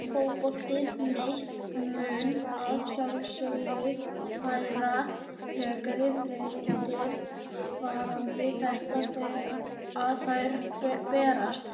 Fótbolti.net mun að sjálfsögðu færa frekari fréttir varðandi þetta þegar að þær berast.